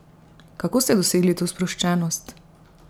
Kako ste dosegli to sproščenost?